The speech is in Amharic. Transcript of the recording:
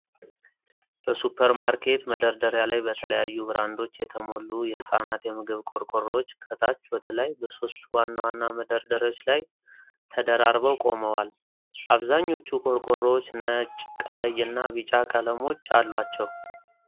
በሱፐርማርኬት መደርደሪያ ላይ፣ በተለያዩ ብራንዶች የተሞሉ የህፃናት የምግብ ቆርቆሮዎች ከታች ወደ ላይ በሶስት ዋና መደርደሪያዎች ላይ ተደራርበው ቆመዋል። አብዛኞቹ ቆርቆሮዎች ነጭ፣ ቀይ እና ቢጫ ቀለሞች አሏቸው።